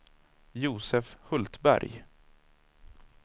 Josef Hultberg